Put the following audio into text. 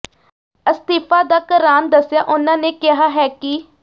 ਅਸਤੀਫਾ ਦਾ ਕਰਾਨ ਦੱਸਿਆਂ ਉਨ੍ਹਾਂ ਨੇ ਕਿਹਾ ਹੈ ਕਿ